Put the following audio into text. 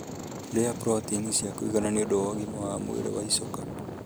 Rĩa proteini cia kũigana nĩũndũ wa ũgima wa mwĩrĩ wa icoka